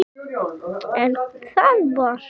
En það var þá.